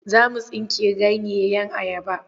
Za mu aske ganyeyen ayaba.